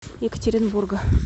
екатеринбурга